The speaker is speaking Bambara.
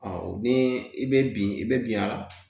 ni i bɛ bin i bɛ bin yan